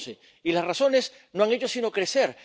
2011. Y las razones no han hecho sino crecer.